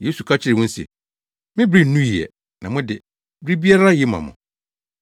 Yesu ka kyerɛɛ wɔn se, “Me bere nnuu ɛ, na mo de bere biara ye ma mo.